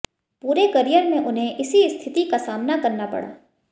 पूरे करियर में उन्हें इसी स्थिति का सामना करना पड़ा